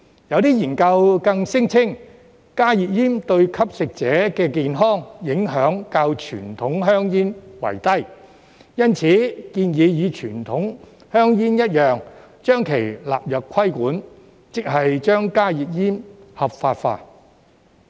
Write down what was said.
有些研究更聲稱，加熱煙對吸食者的健康影響較傳統香煙低，因此建議與傳統香煙一樣，將其納入規管，即是將加熱煙合法化。